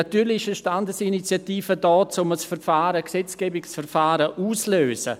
Natürlich ist eine Standesinitiative dazu da, um ein Gesetzgebungsverfahren auszulösen.